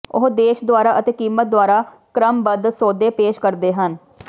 ਉਹ ਦੇਸ਼ ਦੁਆਰਾ ਅਤੇ ਕੀਮਤ ਦੁਆਰਾ ਕ੍ਰਮਬੱਧ ਸੌਦੇ ਪੇਸ਼ ਕਰਦੇ ਹਨ